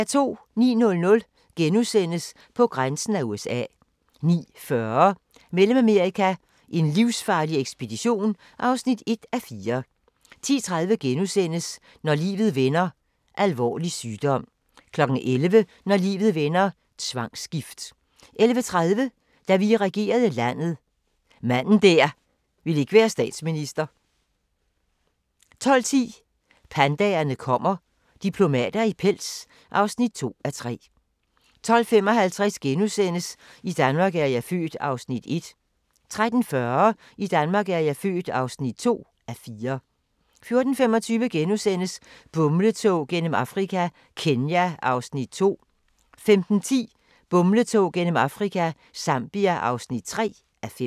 09:00: På grænsen af USA * 09:40: Mellemamerika: en livsfarlig ekspedition (1:4) 10:30: Når livet vender: Alvorlig sygdom * 11:00: Når livet vender: Tvangsgift 11:30: Da vi regerede landet – manden der ikke ville være statsminister 12:10: Pandaerne kommer – diplomater i pels (2:3) 12:55: I Danmark er jeg født (1:4)* 13:40: I Danmark er jeg født (2:4) 14:25: Bumletog gennem Afrika – Kenya (2:5)* 15:10: Bumletog gennem Afrika – Zambia (3:5)